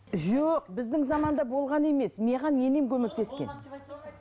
жоқ біздің заманда болған емес маған енем көмектескен